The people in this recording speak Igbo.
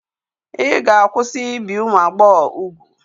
Ị ga-akwụsị ibi ụmụ agbọghọ úgwù.